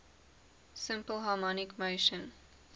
simple harmonic motion